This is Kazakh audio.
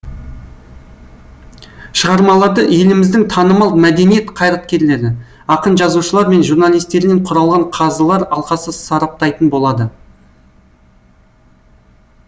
шығармаларды еліміздің танымал мәдениет қайраткерлері ақын жазушылар мен журналистерінен құралған қазылар алқасы сараптайтын болады